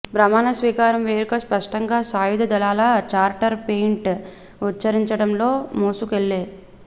ప్రమాణస్వీకారం వేడుక స్పష్టంగా సాయుధ దళాల చార్టర్ పెయింట్ ఉచ్ఛరించడంలో మోసుకెళ్ళే